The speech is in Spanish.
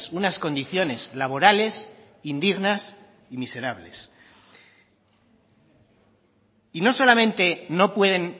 unas condiciones laborales indignas y miserables y no solamente no pueden